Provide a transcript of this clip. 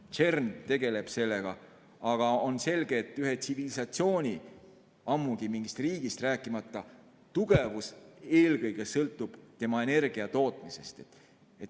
CERN tegeleb sellega, aga on selge, et ühe tsivilisatsiooni, rääkimata mingist riigist, tugevus sõltub eelkõige energiatootmisest.